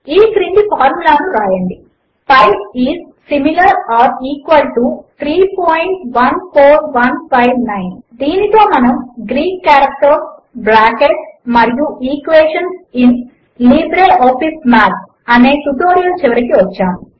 ఈ క్రింది ఫార్ములా ను వ్రాయండి P I is similar or equal to 314159 దీనితో మనము గ్రీక్ కారెక్టర్స్ బ్రాకెట్స్ మరియు ఈక్వేషన్స్ ఇన్ లిబ్రేఆఫీస్ మాథ్ అనే ట్యుటోరియల్ చివరికి వచ్చాము